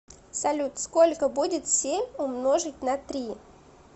салют сколько будет семь умножить на три